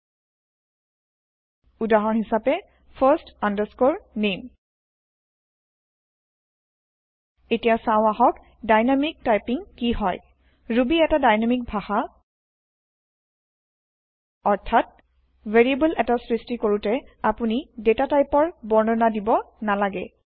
ঊদাহৰন হিচাপে first name এতিয়া চাও আহক ডাইনামিক টাইপীং কি হয় ৰুবী এটা ডাইনামিক ভাষা অৰ্থাৎ ভেৰিয়েব্ল এটা সৃষ্টি কৰোতে আপুনি ডাতাটাইপৰ বৰ্ণনা দিব নালাগে